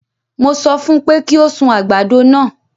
Mo sọ fún un pé kí ó sun àgbàdo náà.